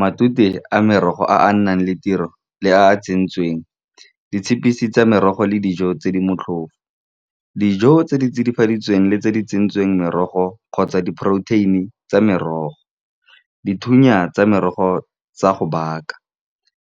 Matute a merogo a a nnang le tiro le a tsentsweng, ditshepiso tsa merogo le dijo tse di motlhofo, dijo tse di tsidifaditsweng le tse di tsentsweng, merogo kgotsa di-protein-I tsa merogo, dithunya tsa merogo tsa go baka